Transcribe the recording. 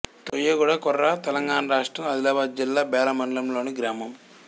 తోయగూడ కొర తెలంగాణ రాష్ట్రం ఆదిలాబాద్ జిల్లా బేల మండలంలోని గ్రామం